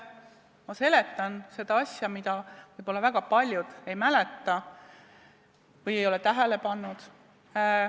Ma seletan seda asja, mida võib-olla väga paljud ei mäleta või ei ole tähele pannud.